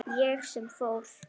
Ég sem fór.